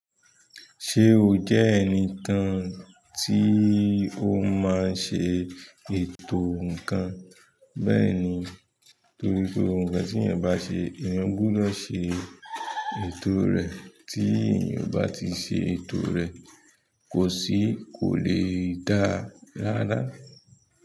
Se o jẹ́ ẹni kan tí ó máa ń ṣe ètò nkan. Bẹ́ẹ̀ni torí pé ohun kan tí èyàn bá ṣe, èyàn gbudọ̀ ṣe ètò rẹ̀. Tí ènìyàn o bá ti ṣe ètò rẹ̀ kò sì kò lè dáa rara.